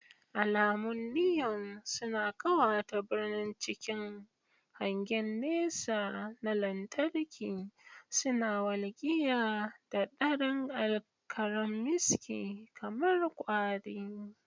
Alamun Niyon suna ƙawata birni cikin hangen nesa na lantarki, suna walƙiya da daren karammiski kamar kwari.